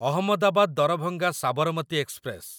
Ahmedabad Darbhanga Sabarmati express